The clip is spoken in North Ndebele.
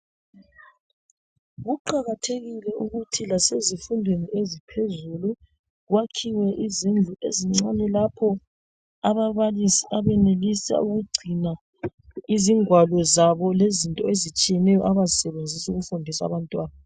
Kuqakathekile ukuthi lasezifundweni eziphezulu kwakhiwe izindlu ezincane lapho ababalisi abenelisa ukugcina izingwalo zabo lezinto ezitshiyeneyo abazisebenzisa ukufundisa abantwana.